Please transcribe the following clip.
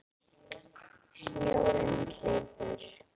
Snjórinn er sleipur!